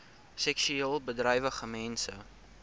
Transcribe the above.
seksueel bedrywige mense